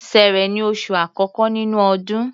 Ṣẹẹrẹ ni oṣù àkọ́kọ́ nínú ọdún.